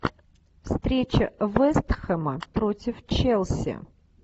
встреча вест хэма против челси